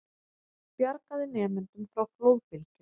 Bjargaði nemendum frá flóðbylgju